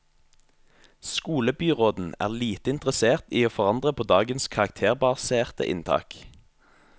Skolebyråden er lite interessert i å forandre på dagens karakterbaserte inntak.